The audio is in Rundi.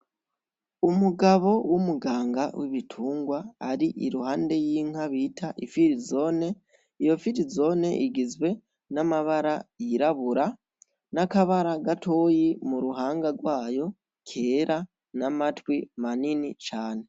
Umugabo w'umuganga w'ibitungwa ari iruhande y'inka bita ifirizone, iyo firizone igizwe n'amabara yirabura, n'akabara gatoyi mu ruhanga gwayo kera, n'amatwi manini cane.